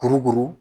Kurukuru